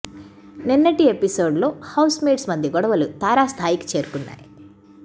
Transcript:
నిన్నటి ఎపిసోడ్ లో housemates మధ్య గొడవలు తారాస్థాయికి చేరుకున్నాయి